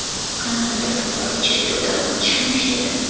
Kanadada fuqaro cherkovda otishma uyushtirdi.